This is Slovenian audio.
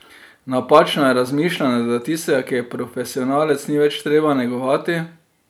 Napačno je razmišljanje, da tistega, ki je profesionalec, ni več treba negovati.